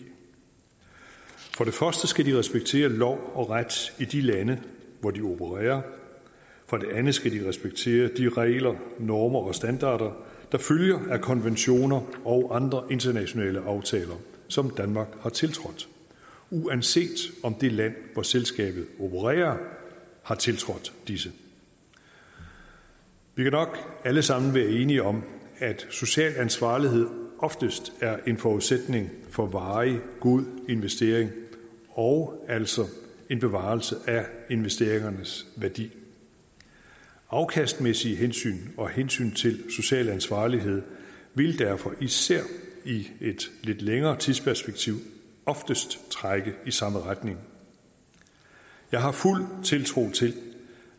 for skal de respektere lov og ret i de lande hvor de opererer for det andet skal de respektere de regler normer og standarder der følger af konventioner og andre internationale aftaler som danmark har tiltrådt uanset om det land hvori selskabet opererer har tiltrådt disse vi kan nok alle sammen være enige om at social ansvarlighed oftest er en forudsætning for varig god investering og altså en bevarelse af investeringernes værdi afkastmæssige hensyn og hensyn til social ansvarlighed vil derfor især i et lidt længere tidsperspektiv oftest trække i samme retning jeg har fuld tiltro til